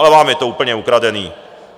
Ale vám je to úplně ukradený.